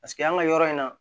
Paseke an ka yɔrɔ in na